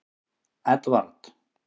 Edvard